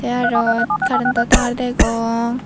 tey aro currento tar degong.